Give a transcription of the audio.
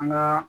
An gaa